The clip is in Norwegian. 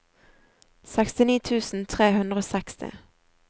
sekstini tusen tre hundre og seksti